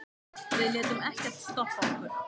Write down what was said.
Við létum ekkert stoppa okkur.